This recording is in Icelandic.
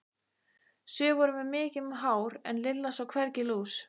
Sum voru með mikið hár en Lilla sá hvergi lús.